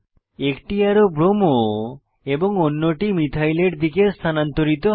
একটি অ্যারো ব্রোমো এবং অন্যটি মিথাইল এর দিকে স্থানান্তরিত হয়